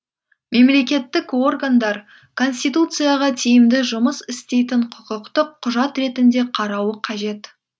мемлекеттік органдар конституцияға тиімді жұмыс істейтін құқықтық құжат ретінде қарауы қажет